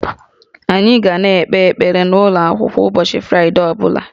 Anyị ga na-ekpe ekpere n'ụlọ akwụkwọ ụbọchị Fraịdee ọ bụla